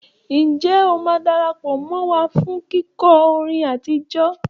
Ǹjẹ́ o máa darapọ̀ mọ́ wa fún kíkọ́ orin àtijọ́?